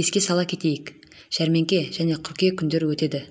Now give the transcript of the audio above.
еске сала кетейік жәрмеңке және қыркүйек күндері өтеді